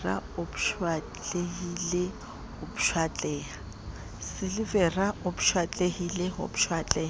silivera o pshatlehile ho pshatleha